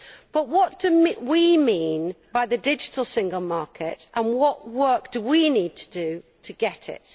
But what do we mean by the digital single market, and what work do we need to do to achieve it?